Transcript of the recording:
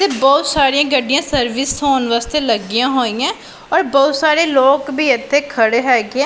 ਤੇ ਬਹੁਤ ਸਾਰੀਆਂ ਗੱਡੀਆਂ ਸਰਵਿਸ ਹੋਣ ਵਾਸਤੇ ਲੱਗੀਆਂ ਹੋਈਆਂ ਔਰ ਬਹੁਤ ਸਾਰੇ ਲੋਕ ਵੀ ਇੱਥੇ ਖੜੇ ਹੈਗੇ --